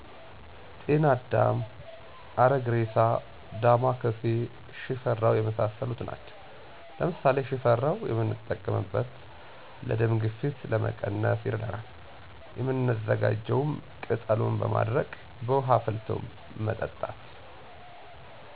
ጤናአዳም፣ አረግሬሳ፣ ዳማካሴ፣ ሽፈራው የመሣሠሉት ናቸው። ለምሣሌ ሽፈራው የምንጠቀምበት ለ የደም ግፊት ለመቀነስ ይረዳናል፤ የምናዘጋጀውም ቅጠሉን በማድረቅ በውሀ አፍልቶ መጠጣት።